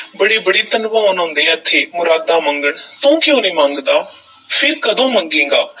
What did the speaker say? ਬੜੇ-ਬੜੇ ਧਨਵਾਨ ਆਉਂਦੇ ਹੈ ਇੱਥੇ ਮੁਰਾਦਾਂ ਮੰਗਣ, ਤੂੰ ਕਿਉਂ ਨਹੀਂ ਮੰਗਦਾ ਫੇਰ ਕਦੋਂ ਮੰਗੇਗਾ,